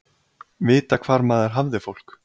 Vita hvar maður hafði fólk.